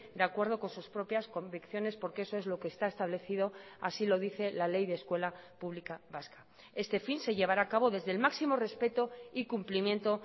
de acuerdo con sus propias convicciones porque eso es lo que está establecido así lo dice la ley de escuela pública vasca este fin se llevará a cabo desde el máximo respeto y cumplimiento